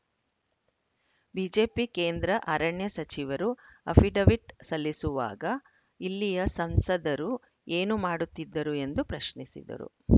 BJP ಕೇಂದ್ರ ಅರಣ್ಯ ಸಚಿವರು ಅಫಿಡವಿಟ್‌ ಸಲ್ಲಿಸುವಾಗ ಇಲ್ಲಿಯ ಸಂಸದರು ಏನು ಮಾಡುತ್ತಿದ್ದರು ಎಂದು ಪ್ರಶ್ನಿಸಿದರು